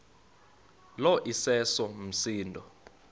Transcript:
lo iseso msindo